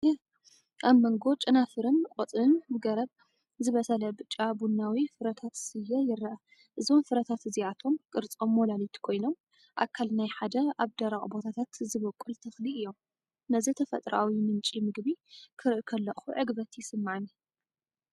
ኣብ መንጎ ጨናፍርን ቆጽልን ገረብ ዝበሰለ ብጫ-ቡናዊ ፍረታት ስየ ይረአ። እዞም ፍረታት እዚኣቶም ቅርጾም ሞላሊት ኮይኖም ኣካል ናይ ሓደ ኣብ ደረቕ ቦታታት ዝበቁል ተኽሊ እዮም። ነዚ ተፈጥሮኣዊ ምንጪ መግቢ ክርኢ ከለኹ ዕግበት ይስምዓኒ፣